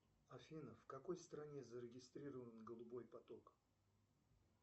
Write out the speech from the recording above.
афина в какой стране зарегистрирован голубой поток